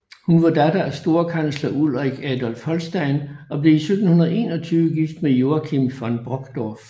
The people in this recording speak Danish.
Hun var datter af storkansleren Ulrik Adolf Holstein og blev i 1721 gift med Joachim von Brockdorff